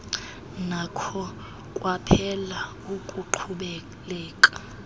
nakho kwaphela ukuqhubeleka